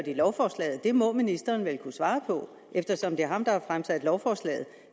lovforslaget det må ministeren vel kunne svare på eftersom det er ham der har fremsat lovforslaget